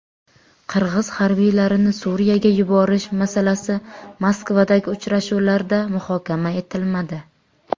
Qirg‘iz harbiylarini Suriyaga yuborish masalasi Moskvadagi uchrashuvlarda muhokama etilmadi.